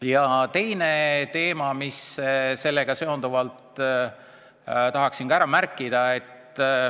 Ja teine teema, mille ma sellega seonduvalt tahaksin ka ära märkida.